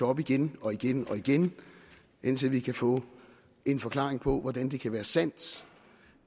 op igen og igen og igen indtil vi kan få en forklaring på hvordan det kan være sandt